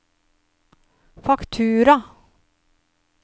faktura